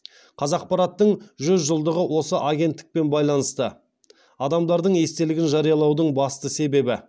қазақпараттың жүз жылдығы осы агенттікпен байланысты адамдардың естелігін жариялаудың басты себебі